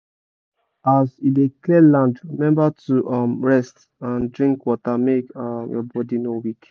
as you dey clear land remember to rest and drink water make your body no weak